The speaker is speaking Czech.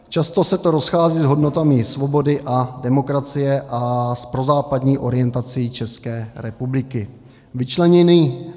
Často se to rozchází s hodnotami svobody a demokracie a s prozápadní orientací České republiky.